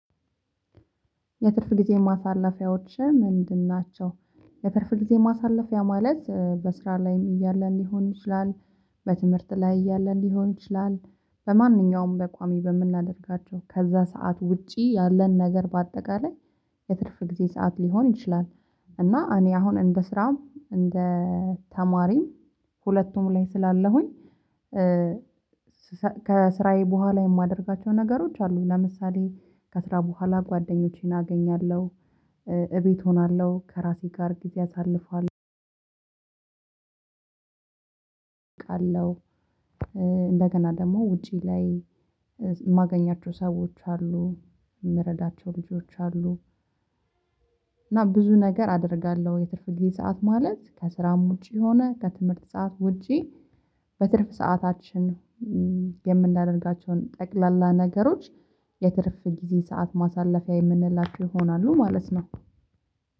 የትርፍ ጊዜ ማሳለፊያዎችህ ምንድን ናቸው? የትርፍ ጊዜ ማሳለፊያ ማለት በስራ ላይም እያለን ሊሆን ይችላል። በትምህርት ላይ እያለን ሊሆን ይችላል። በማንኛውም በቋሚ በምናደርጋቸው ከዛ ሰዓት ውጪ ያለን ነገር በአጠቃላይ የትርፍ ጊዜ ሰዓት ሊሆን ይችላል። እና እኔ አሁን እንደ ስራ እንደ ተማሪም ሁለቱም ላይ ስላለሁኝ። ከስራዬ በኋላ የማደርጋቸው ነገሮች አሉ ለምሳሌ ከስራ በኋላ ጓደኞቼን አገኛለሁ። እቤት እሆናለሁ ከራሴ ጋር ጊዜ አሳልፏልሁ። እንደገና ደግሞ ውጪ ላይ የማገኛቸው ሰዎች አሉ። የምረዳቸው ልጆች አሉ። እና ብዙ ነገር አደርጋለሁ የትርፍ ጊዜ ሰዓት ማለት ከስራም ውጪ ሆነ ከትምህርት ሰዓት ውጪ በትርፍ ሰዓታችን የምናደርጋቸውን ጠቅላላ ነገሮች። የትርፍ ጊዜ ሰዓት ማሳለፊያ የምንላቸው ይሆናሉ ማለት ነው።